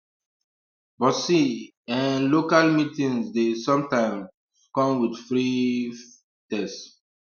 but see um eh local meeting dey sometimes um come with free um test